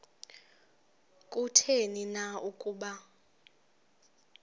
kutheni na ukuba